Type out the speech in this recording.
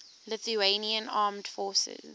lithuanian armed forces